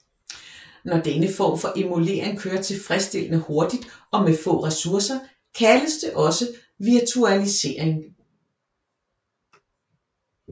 Når denne form for emulering kører tilfredsstillende hurtigt og med få resourcer kaldes det også virtualisering